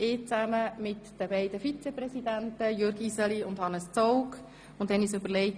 Die beiden Vizepräsidenten Jürg Iseli und Hannes Zaugg und ich haben eine kurze Sitzung abgehalten.